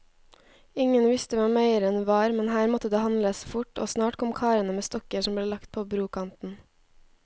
Ingen visste hvem eieren var, men her måtte det handles fort, og snart kom karene med stokker som ble lagt på brokanten.